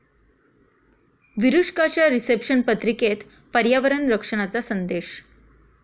विरुष्काच्या reception पत्रिकेत पर्यावरण रक्षणाचा संदेश